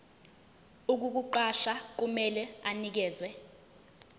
ukukuqasha kumele anikeze